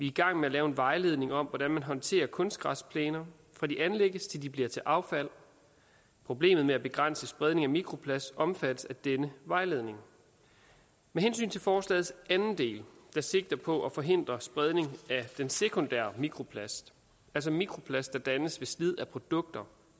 i gang med at lave en vejledning om hvordan man håndterer kunstgræsplæner fra de anlægges til de bliver til affald problemet med at begrænse spredning af mikroplast omfattes af denne vejledning med hensyn til forslagets anden del der sigter på at forhindre spredning af den sekundære mikroplast altså mikroplast der dannes ved slid af produkter